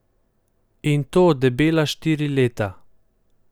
In to debela štiri leta!